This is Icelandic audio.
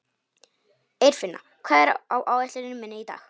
Eirfinna, hvað er á áætluninni minni í dag?